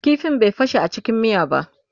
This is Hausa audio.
ƙifin bai fashe a cikin miya ba